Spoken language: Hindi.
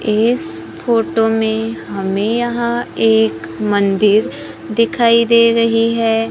इस फोटो में हमें यहां एक मंदिर दिखाई दे रही है।